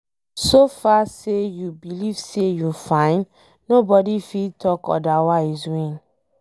So far say you believe say you fine nobody fit talk odirwise win